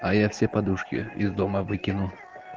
а я все подушки из дома выкину